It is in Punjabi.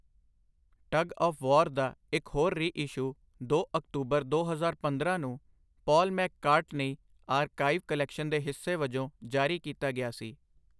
ਟਗ ਆਫ਼ ਵਾਰ' ਦਾ ਇੱਕ ਹੋਰ ਰੀਇਸ਼ੂ ਦੋ ਅਕਤੂਬਰ ਦੋ ਹਜ਼ਾਰ ਪੰਦਰਾਂ ਨੂੰ ਪਾਲ ਮੈਕਕਾਰਟਨੀ ਆਰਕਾਈਵ ਕਲੈਕਸ਼ਨ ਦੇ ਹਿੱਸੇ ਵਜੋਂ ਜਾਰੀ ਕੀਤਾ ਗਿਆ ਸੀ।